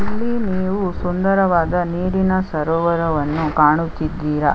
ಇಲ್ಲಿ ನೀವು ಸುಂದರವಾದ ನೀರಿನ ಸರೋವರವನ್ನು ಕಾಣುತ್ತಿದ್ದೀರ .